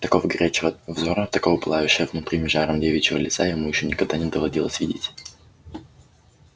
такого горящего взора такого пылающего внутренним жаром девичьего лица ему ещё никогда не доводилось видеть